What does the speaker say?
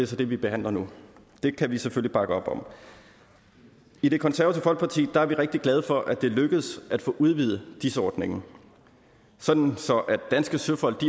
så det vi behandler nu det kan vi selvfølgelig bakke op om i det konservative folkeparti er vi rigtig glade for at det lykkedes at få udvidet dis ordningen sådan at danske søfolk